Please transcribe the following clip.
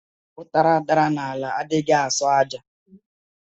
Utara dara n'ala adighi aso aja.